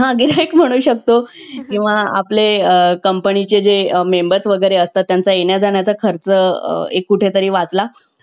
cartoon किंवा त्यांच्या आवडीचं जे काही serial असेल किंवा movie असेल त्यांना जे आवडेल ते जर आपण mobile मध्ये किंवा TV वर लावून दिल तर त्यांचं एक चांगल्या प्रकारे entertainment होत